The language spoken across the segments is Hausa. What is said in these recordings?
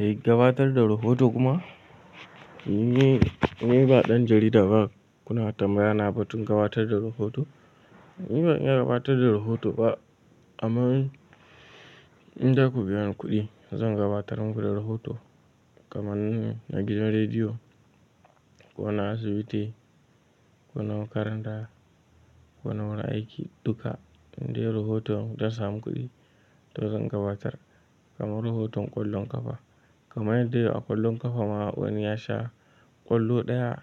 Gabatar da rahoto kuma? Ni, ni ba ɗan jarida ba kuna tambaya na batun gabatar da rahoto. Ni ban iya gabatar da rahoto ba amma in za ku biya ni kuɗi zan gabatar muku da rahoto kaman na gidan rediyo ko na asibiti ko na makaranta ko na wurin aiki dukka. In dai rahoton zan samu kuɗi to zan gabatar kamar rahoton ƙwallon ƙafa. Kamar dai a ƙwallon ƙafa ma wani ya sha ƙwallo ɗaya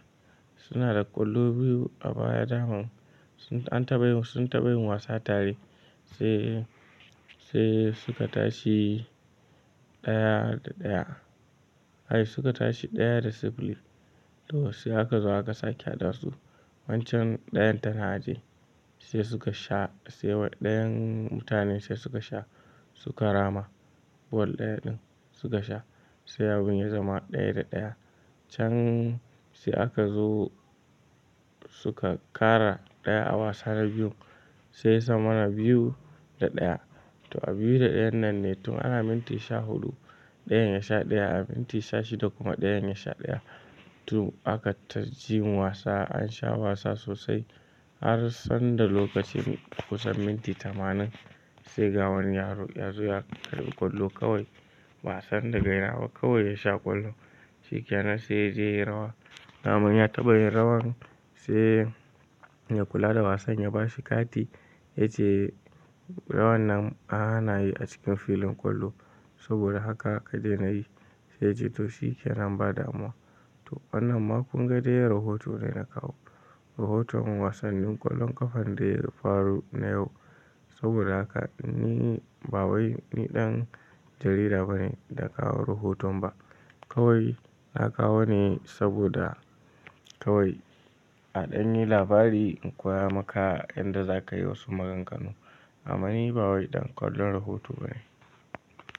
suna da ƙwallo biyu a baya daman sun, an taɓa yin, sun taɓa yin wasa tare sai, sai suka tashi ɗaya da ɗaya. Suka tashi ɗaya da sifili to sai haka zuwa aka sake haɗa su wancan ɗayan ta aji ye sai suka sha sai wa ɗayan mutanen sai suka sha suka rama ball ɗaya din suka sha sai abun ya zama ɗaya da ɗaya. Can sai aka zo suka ƙara ɗaya a wasa na biyun sai ya zama na biyu da ɗaya. To a biyu da ɗayan nan ne tun ana minti sha huɗu ɗayan ya sha ɗaya, a minti sha shida kuma ɗayan ya sha ɗaya. To aka ta yin wasa an sha wasa sosai har sanda lokacin kusan minti tamanin sai ga wani yaro ya zo ya karɓi ƙwallo kawai ba a san da gaira ba kawai ya sha ƙwallo shi ke nan sai ya je ya yi rawa. Da man ya taɓa yin rawan sai ya mai kula da wasan ya ba shi kati yace "rawan nan an hana yi a cikin filin ƙwallo saboda haka ka dena yi" sai yace "to shi ke nan ba damuwa. "to wannan ma dai kun ga rahoto ne na kawo. Rahoton wasannin ƙwallon ƙafan da ya faru na yau. Saboda haka ni ba wai ni ɗan jarida bane da na kawo rahoton ba. Kawai na kawo ne saboda kawai a ɗan yi labari in koya maka yadda za ka yi wasu maganganu amma ni ba wai ɗan ƙwallon rahoto bane.